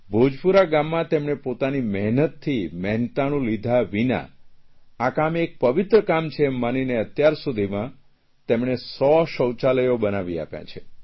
ભોજપુરા ગામાં તેમણે પોતાની મહેનતથી મહેનતાણું લીધા વિના આ કામ પવિત્ર કામ છે એમ માનીને અત્યાર સુધીમાં તેમણે 100 શૌચાલયો બનાવી આપ્યાં છે